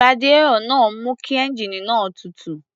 Radiárọ̀ náà ń mú kí ẹ́ńjíìnì náà tutù.